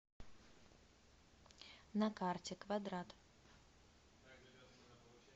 на карте квадрат